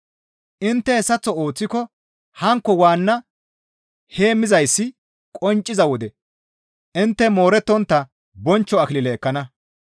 Intte hessaththo ooththiko hankko waanna heemmizayssi qoncciza wode intte moorettontta bonchcho akilile ekkana.